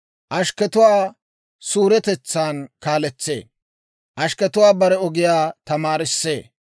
Ashkketuwaa suuretetsan kaaletsee; ashkketuwaa bare ogiyaa tamaarissee.